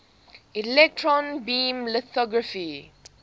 electron beam lithography